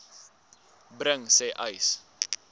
bring sê uys